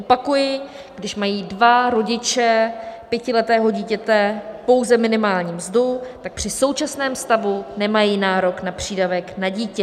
Opakuji: když mají dva rodiče pětiletého dítěte pouze minimální mzdu, tak při současném stavu nemají nárok na přídavek na dítě.